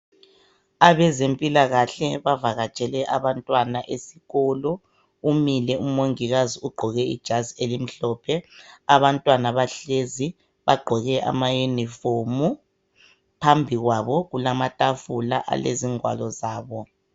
Abezempilakahle bavakatshele abantwana esikolo. Umile umongikazi ugqoke ijazi elimhlophe. Abantwana bahlezi bagqoke amayunifomu. Phambi kwabo kulamatafula alezingwalo zabo.